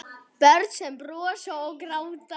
Börn sem brosa og gráta.